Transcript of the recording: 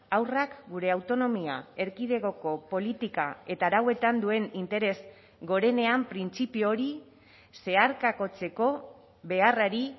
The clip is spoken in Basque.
haurrak gure autonomia erkidegoko politika eta arauetan duen interes gorenean printzipio hori zeharkakotzeko beharrari